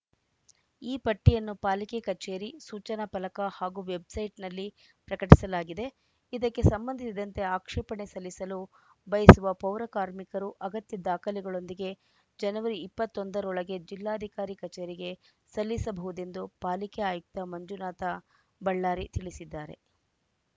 ಈ ಪಟ್ಟಿಯನ್ನು ಪಾಲಿಕೆ ಕಚೇರಿ ಸೂಚನಾ ಫಲಕ ಹಾಗೂ ವೆಬ್‌ಸೈಟ್‌ನಲ್ಲಿ ಪ್ರಕಟಿಸಲಾಗಿದೆ ಇದಕ್ಕೆ ಸಂಬಂಧಿಸಿದಂತೆ ಆಕ್ಷೇಪಣೆ ಸಲ್ಲಿಸಲು ಬಯಸುವ ಪೌರ ಕಾರ್ಮಿಕರು ಅಗತ್ಯ ದಾಖಲೆಗಳೊಂದಿಗೆ ಜನವರಿ ಇಪ್ಪತೊಂದರೊಳಗೆ ಜಿಲ್ಲಾಧಿಕಾರಿ ಕಚೇರಿಗೆ ಸಲ್ಲಿಸಬಹುದೆಂದು ಪಾಲಿಕೆ ಆಯುಕ್ತ ಮಂಜುನಾಥ ಬಳ್ಳಾರಿ ತಿಳಿಸಿದ್ದಾರೆ